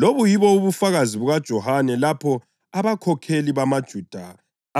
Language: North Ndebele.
Lobu yibo ubufakazi bukaJohane lapho abakhokheli bamaJuda